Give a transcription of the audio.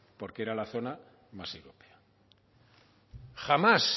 porque era la zona más europea jamás